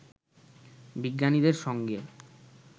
বিজ্ঞানীদের সঙ্গে